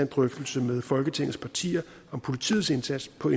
drøftelse med folketingets partier om politiets indsats på